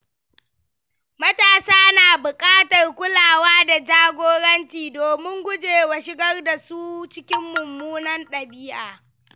Matasa na bukatar kulawa da jagoranci domin gujewa shigar da su cikin mummunan dabi’a.